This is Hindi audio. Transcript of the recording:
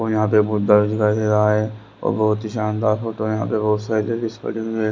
यहां पे बहुत दर्ज कर दे रहा है बहुत शानदार फोटो यहां पे बहुत सा है--